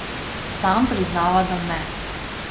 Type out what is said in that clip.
Sam priznava, da ne.